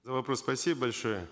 за вопрос спасибо большое